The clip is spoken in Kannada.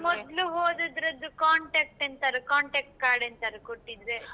ಮೊದ್ಲು ಹೋದದ್ರದ್ದು contact ಎಂತಾದ್ರೂ contact card ಎಂತಾದ್ರೂ ಕೊಟ್ಟಿದ್ರೆ.